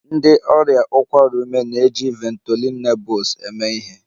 Ndị ọrịa ụkwara ume ọkụ na-eji Ventolin Nebules eme ihe